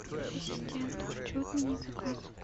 ассистент хочу отменить заказ